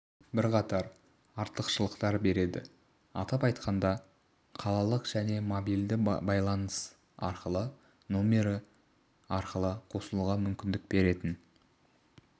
бірқатар артықшылықтар береді атап айтқанда қалалық және мобильді байланыс арқылы нөмірі арқылы қосылуға мүмкіндік беретін